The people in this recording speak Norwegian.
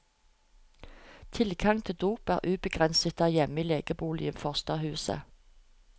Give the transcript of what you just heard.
Tilgangen til dop er ubegrenset der hjemme i legeboligen i forstadshuset.